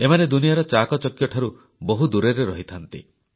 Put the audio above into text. ଏମାନେ ଦୁନିଆର ଚାକଚକ୍ୟଠାରୁ ବହୁଦୂରରେ ରହିଥାନ୍ତି